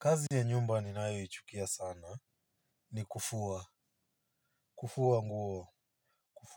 Kazi ya nyumba ninayo ichukia sana ni kufua kufua